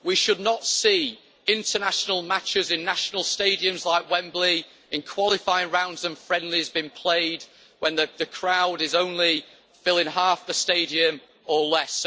We should not see international matches in national stadiums like Wembley in qualifying rounds and friendlies being played when the crowd is only filling half the stadium or less.